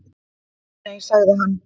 Nei nei, sagði hann.